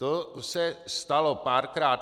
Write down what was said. To se stalo párkrát.